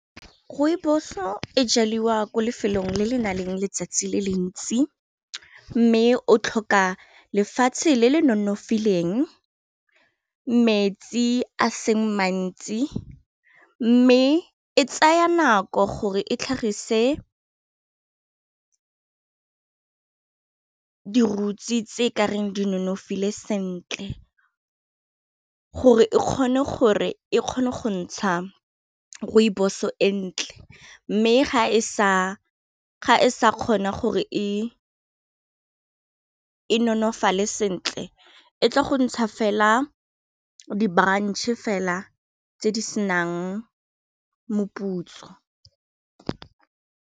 Rooibos-o e jaliwa ko lefelong le le nang le letsatsi le le ntsi mme o tlhoka lefatshe le le nonofileng metsi a seng mantsi mme e tsaya nako gore e tlhagise di-roots tse e kareng di nonofile sentle, gore e kgone go ntsha rooibos-e e ntle mme ga e sa kgona gore e nonofale sentle e tla go ntsha fela di branch-e fela tse di senang moputso.